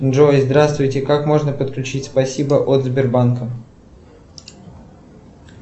джой здравствуйте как можно подключить спасибо от сбербанка